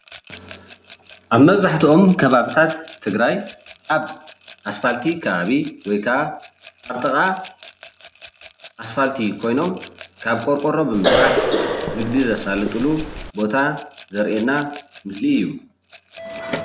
ኣብ መብዛሕትኦም ከባቢታት ትግራይ ኣብ ኣስፋልቲ ከባቢ ወይ ካዓ ኣብ ጥቓ ኣስፋልቲ ኮይኖም ካብ ቆርቆሮ ብምስራሕ ንግዲ ዘሳልጥሉ ቦታ ዘርእየና ምስሊ እዩ